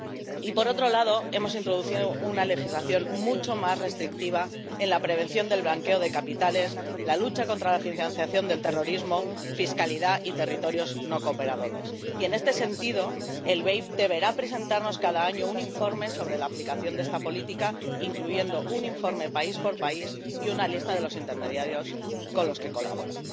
Y, por otro lado, hemos introducido una legislación mucho más restrictiva en la prevención del blanqueo de capitales, la lucha contra la financiación del terrorismo, la fiscalidad y los territorios no cooperadores. Y, en este sentido, el BEI deberá presentarnos cada año un informe sobre la aplicación de esta política, incluyendo un informe país por país y una lista de los intermediarios con los que colabora.